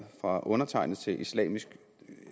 fra undertegnede til islamiske